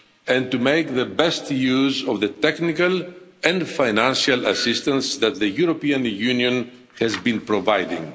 and to make the best use of the technical and financial assistance that the European Union has been providing.